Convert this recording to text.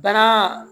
Baara